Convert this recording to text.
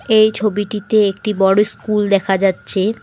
এই ছবিটিতে একটি বড়ো স্কুল দেখা যাচ্ছে।